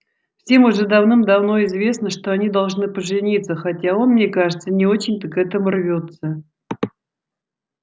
всем уже давным-давно известно что они должны пожениться хотя он мне кажется не очень-то к этому рвётся